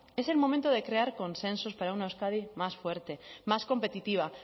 es el momento de crear consensos para una euskadi más fuerte más competitiva